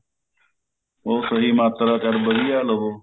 ਉਹ ਸਹੀ ਮਾਤਰਾ ਚ ਅਰ ਵਧੀਆ ਲਵੋ